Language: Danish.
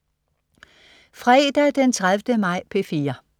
Fredag den 30. maj - P4: